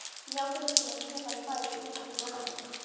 Járngrindin er tvöföld bæði í útveggjum og gangaveggjum.